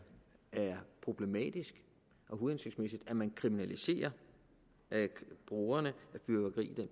problematisk og uhensigtsmæssigt at man kriminaliserer brugerne